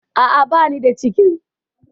A'a, bani da cikin.